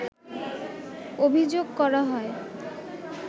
অভিযোগ করা হয়